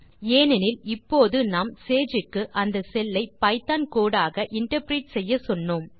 ஏனெனில் இப்போது நாம் சேஜ் க்கு அந்த செல் ஐ பைத்தோன் கோடு ஆக இன்டர்பிரெட் செய்யச்சொன்னோம்